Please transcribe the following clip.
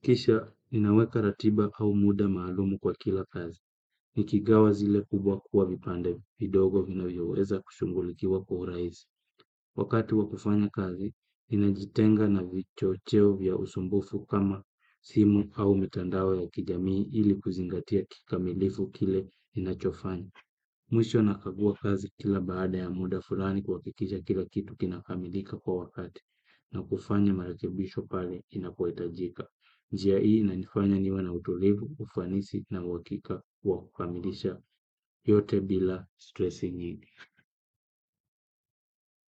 Kisha ninaweka ratiba au muda maalumu kwa kila kazi. Nikigawa zile kubwa kuwa vipande vidogo vinayoweza kushughulikiwa kwa uhurahisi. Wakati wa kufanya kazi, ninajitenga na vicho cheo vya usumbufu kama simu au mitandao ya kijamii ili kuzingatia kikamilifu kile ninachofanya. Mwisho nakagua kazi kila baada ya muda fulani kuhakikisha kila kitu kinakamilika kwa wakati na kufanya marekebisho pale inapohitajika. Njia hii inanifanya niwe na utulivu, ufanisi na uwakika wa kukamilisha yote bila stressi nyingi.